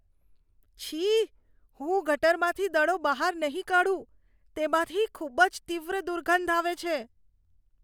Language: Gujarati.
છી, હું ગટરમાંથી દડો બહાર નહીં કાઢું. તેમાંથી ખૂબ જ તીવ્ર દુર્ગંધ આવે છે.